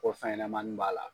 Ko fɛn ɲɛnɛmani b'a la.